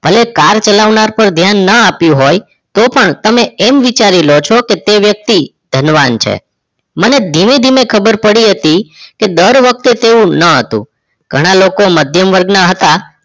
ભલે car ચલાવનાર પણ ધ્યાન ન આપ્યુ હોય તો પણ તમે વિચારી લો છો કે એ વ્યક્તિ ધનવાન છે મને ધીમે ધીમે ખબર પડી હતી કે દરવખતે તેવું ન હતું ઘણાં લોકો મધ્યમ વર્ગ ના હતા